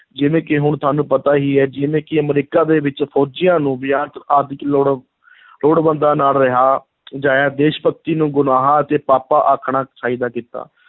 ਜਿਵੇਂ ਕਿ ਹੁਣ ਸਾਨੂੰ ਪਤਾ ਹੀ ਹੈ ਜਿਵੇਂ ਕਿ ਅਮਰੀਕਾ ਦੇ ਵਿੱਚ ਫ਼ੌਜੀਆਂ ਨੂੰ ਲੋੜਵੰਦਾਂ ਨਾਲ ਰਿਹਾ ਅਜਿਹੀ ਦੇਸ਼-ਭਗਤੀ ਨੂੰ ਗੁਨਾਹ ਅਤੇ ਪਾਪਾਂ ਆਖਣਾ ਚਾਹੀਦਾ ਕੀਤਾ।